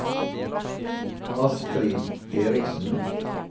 Astrid Erichsen